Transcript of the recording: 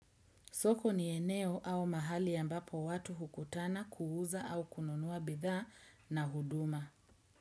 Soko ni eneo au mahali ambapo watu hukutana kuuza au kununua bidhaa na huduma.